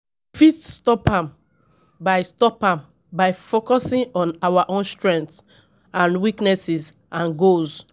We fit stop am by stop am by focusing on our own strengths and weaknesses and goals.